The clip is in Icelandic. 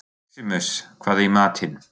Maximus, hvað er í matinn?